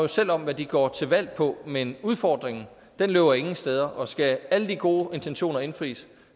selv om hvad de går til valg på men udfordringen løber ingen steder og skal alle de gode intentioner indfries